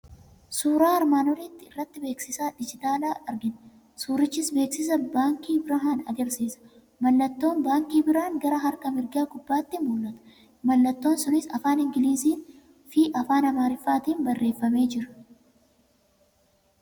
1. Suuraa armaan olii irratti beeksisa diijitaalaa argina. 2. Suurichis beeksisa Baankii Birhaaan agarsiisa. 3. Mallattoon Baankii Birhaan gara harka mirgaa gubbaatti mul'ata. 4. Mallattoon sunis afaan Ingiliiziin fi afaan Amaariffaatiin barreeffamee jira.